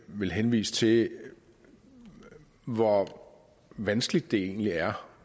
vil henvise til hvor vanskeligt det egentlig er